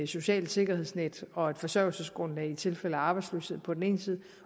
socialt sikkerhedsnet og et forsørgelsesgrundlag i tilfælde af arbejdsløshed på den ene side